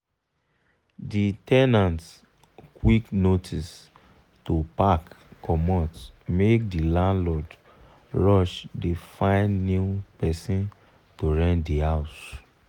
the ten ant quick notice to pack comot make the landlord rush dey find new person to rent the house.